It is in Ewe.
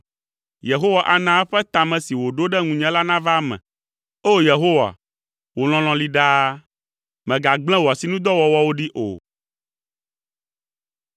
Yehowa ana eƒe ta me si wòɖo ɖe ŋunye la nava eme. O! Yehowa, wò lɔlɔ̃ li ɖaa, mègagblẽ wò asinudɔwɔwɔwo ɖi o.